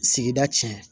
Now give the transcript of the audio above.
Sigida cɛn